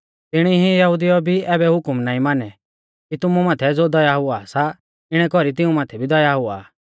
तिणी ई यहुदिउऐ भी ऐबै हुकम नाईं मानै कि तुमु माथै ज़ो दया हुआ सा इणै कौरी तिऊं माथै भी दया हुआ